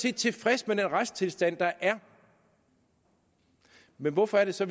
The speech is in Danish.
er tilfredse med den retstilstand der er hvorfor er det så